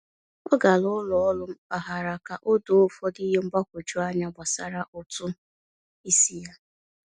Ọ gara ụlọ ọrụ mpaghara ka o doo ụfọdụ ihe mgbagwoju anya gbasara ụtụ isi ya.